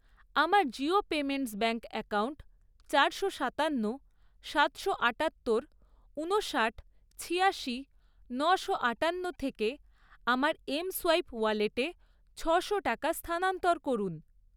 আমার Jio payments bank account চারশো সাতান্ন, সাতশো আটাত্তর, ঊনষাট, ছিয়াশি, নশো আটান্ন থেকে আমার এমসোয়াইপ ওয়ালেটে ছশো টাকা স্থানান্তর করুন।